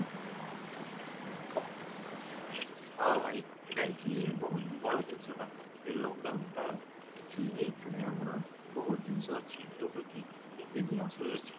ହଁ ଭାଇ ଏଇଟା actually ଗୋଟେ ବଡ଼ ଜିନିଷଟା ଏଇ lockdown ଟା actually ଏଇଥିରେ ଆମର ବହୁତ ଜିନିଷ ଅଛି ଯୋଉଟା କି ଏବେ ବି ଆସୁ ଅଛି